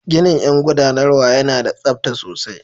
Ginin yan guɗanarwa yana da tsabta sosai.